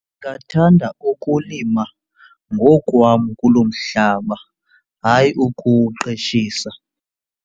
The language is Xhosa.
Ndingathanda ukulima ngokwam kulo mhlaba, hayi ukuwuqeshisa.